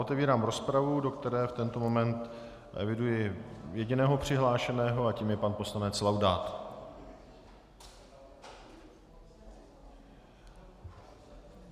Otevírám rozpravu, do které v tento moment eviduji jediného přihlášeného a tím je pan poslanec Laudát.